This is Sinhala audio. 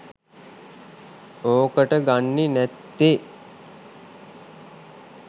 ඕකට ගන්නෙ නැත්තෙ